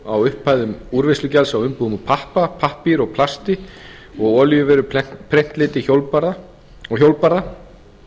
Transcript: á upphæðum úrvinnslugjalds á umbúðum úr pappa pappír og plasti og á olíuvörur prentliti og hjólbarða